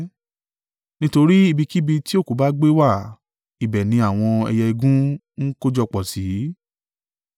Nítorí ibikíbi tí òkú bá gbé wà, ibẹ̀ ni àwọn ẹyẹ igún ń kójọpọ̀ sí.